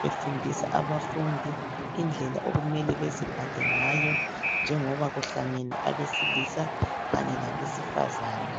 befundisa abafundi indlela okumele baziphathe ngayo njengoba kuhlangene abesilisa labesifazana.